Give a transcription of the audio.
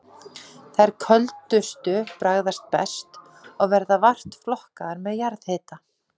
Þær köldustu bragðast best, og verða vart flokkaðar með jarðhita.